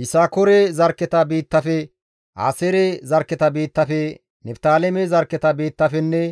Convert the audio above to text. Yisakoore zarkketa biittafe, Aaseere zarkketa biittafe, Niftaaleme zarkketa biittafenne